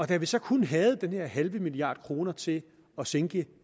da vi så kun havde den her halve milliard kroner til at sænke